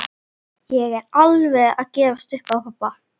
Ég er alveg að gefast upp á pabba.